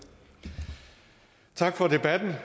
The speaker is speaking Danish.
tak for debatten jeg